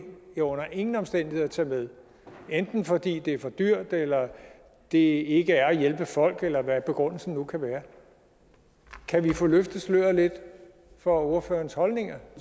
vi under ingen omstændigheder tage med enten fordi det er for dyrt eller det ikke er at hjælpe folk eller hvad begrundelsen nu kan være kan vi få løftet sløret lidt for ordførerens holdninger